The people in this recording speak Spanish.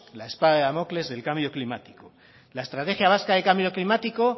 la espada de damocles del cambio climático la estrategia vasca de cambio climático